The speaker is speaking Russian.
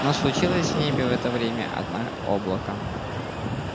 но случилось небе в это время одна облако